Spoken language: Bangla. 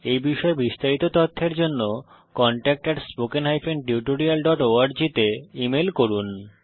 এই বিষয়ে বিস্তারিত তথ্যের জন্য contactspoken tutorialorg তে ইমেল করুন